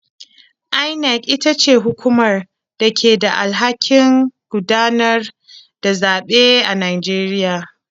INEC ita ce hukumar da ke da alhakin gudanar da zaɓe a Najeriya.